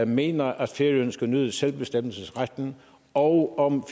mener at færøerne skal nyde selvbestemmelsesretten og om